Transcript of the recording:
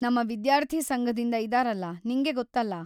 ನಮ್ಮ ವಿದ್ಯಾರ್ಥಿ ಸಂಘದಿಂದ ಇದಾರಲ, ನಿಂಗೆ ಗೊತ್ತಲ್ಲ.